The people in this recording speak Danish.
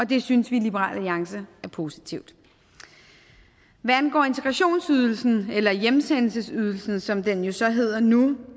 det synes vi i liberal alliance er positivt hvad angår integrationsydelsen eller hjemsendelsesydelsen som den jo så hedder nu